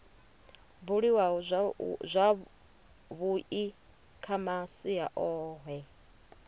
buliwaho zwavhui kha masia ohe